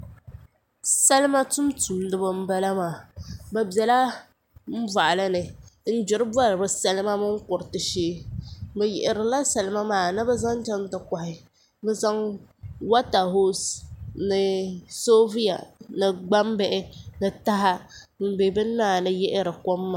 salima tumtumdibi n bala maa bi biɛla boɣali ni n gbiri bori salima mini kuriti shee bi yihirila salima maa ni bi zaŋ chɛŋ ti kohi bi zaŋ wota hools ni soobuya ni gbambihi n bɛ bini maa ni yihiri kom maa